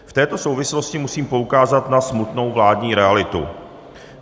V této souvislosti musím poukázat na smutnou vládní realitu.